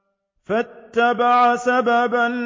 فَأَتْبَعَ سَبَبًا